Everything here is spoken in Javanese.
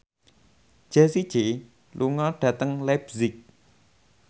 Jessie J lunga dhateng leipzig